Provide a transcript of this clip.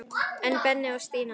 En Benni og Stína?